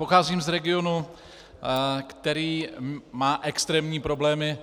Pocházím z regionu, který má extrémní problémy,